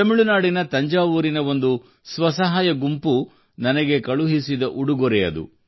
ತಮಿಳು ನಾಡಿನ ತಂಜಾವೂರಿನ ಒಂದು ಸ್ವಸಹಾಯ ಗುಂಪು ನನಗೆ ಕಳುಹಿಸಿದ ಉಡುಗೊರೆಯದು